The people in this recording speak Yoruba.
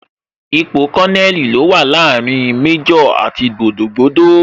Ipò Kononeli ní ó wà láàrin Méjò àti gbogboogbo